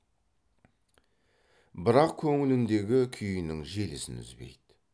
бірақ көңіліндегі күйінің желісін үзбейді